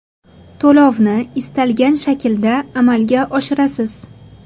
To‘lovni istalgan shaklda amalga oshirasiz.